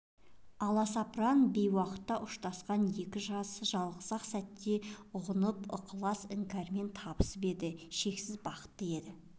аласапыран бейуақта ұшырасқан екі жас жалғыз-ақ сәтте ұғысып ыстық іңкәрлікпен табысып еді шексіз бақытты еді